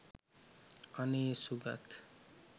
අනේ සුගත්